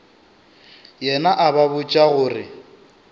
yena a ba botša gore